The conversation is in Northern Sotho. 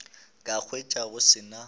ka hwetša go se na